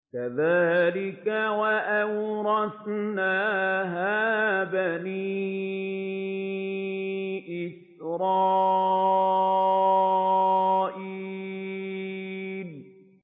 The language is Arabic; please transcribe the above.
كَذَٰلِكَ وَأَوْرَثْنَاهَا بَنِي إِسْرَائِيلَ